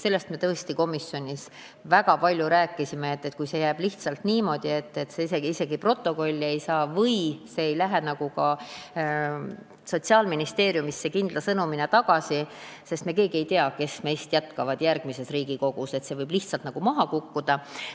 Sellest me tõesti komisjonis väga palju rääkisime, et kui jääb lihtsalt niimoodi, et see otsus isegi protokolli ei saa või see teema ei lähe ka Sotsiaalministeeriumisse kindla sõnumina tagasi , siis see võib lihtsalt nagu maha kukkuda.